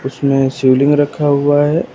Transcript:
उसमें शिवलिंग रखा हुआ है।